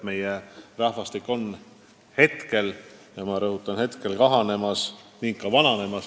Meie rahvastik on praegu – ma rõhutan, praegu – kahanemas ning ka vananemas.